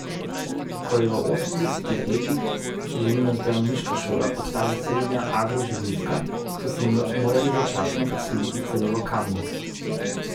Ko je v osemdesetih letih živinozdravniška šola postala srednja agroživilska, so se morali začasno preseliti celo v Kamnik.